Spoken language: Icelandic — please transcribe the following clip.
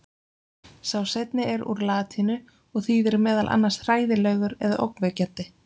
Sá seinni er úr latínu og þýðir meðal annars hræðilegur og ógnvekjandi.